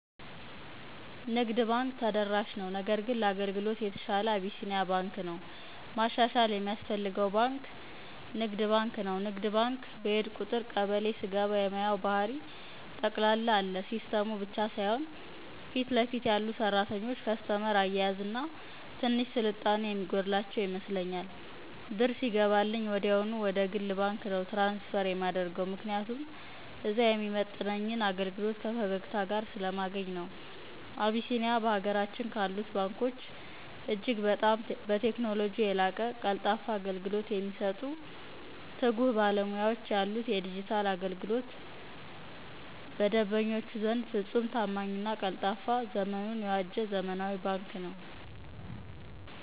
ንግድ ተደራሽ ነው ነገር ግን ለአገልግሎት የተሸለ አቢሲኒያ በንክ ነው ማሻሸል የሚያስፈልገው በንክ ንግድ ባንክ ነው ንግድ ባንክ በሄድኩ ቁጥር ቀበሌ ስገባ የማየው ባህሪ ጠቅላላ አለሲስተሙ ብቻ ሳይሆን ፊትለፊት ያሉ ሰራተኞች ከስተመር አያያዝና ትንሽ ስልጣኔ የሚጎድላቸው ይመስለኛል። ብር ሲገባልኝ ወዲያውኑ ወደግል ባንክ ነው ትራንስፈር የማደርገው ምክንያቱም እዛ የሚመጥነኝን አገልግሎት ከፈገግታ ጋር ስለማገኝ ነው። አቢሲንያ በሀገራችን ካሉት ባንኮች እጅግ በጣም በቴክኖሎጅው የላቀ ቀልጣፋ አገልግሎት የሚሰጡ ትጉህ ባለሙያዎች ያሉት የዲጅታል አገልግሎቱ በደንበኞቹ ዘንድ ፍፁም ታማኝና ቀልጣፋ ዘመኑን የዋጀ ዘመናዊ ባንክ ነው።